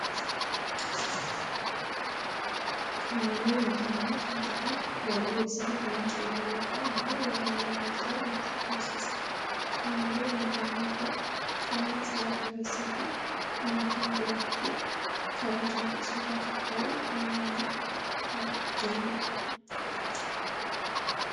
Qaamoolee nageenya kan ta'aan yeroo isaan leenjii irraa yookiin immoo waraana irra jiran nutti agarsiisa. Qaamooleen nageenya kun uffanna seera qabeessa fi qaama kam birattu kabaaaja fi soda kan qabun faayamani kan jiranidha.